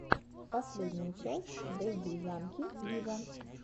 последняя часть дэдди янки виво